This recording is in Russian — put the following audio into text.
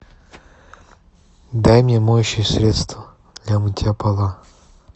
дай мне моющее средство для мытья пола